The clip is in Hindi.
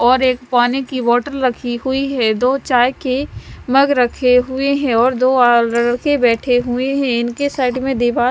और एक पाणी की बोटल रखी हुई है दो चाय के मग रखे हुए है और दो आ लड़के बेठे हुए है इनके साइड में दीवार--